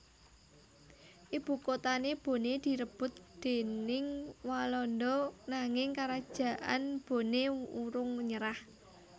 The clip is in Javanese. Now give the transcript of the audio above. Ibukotané Boné direbut déning Walanda nanging Karajaan Boné urung nyerah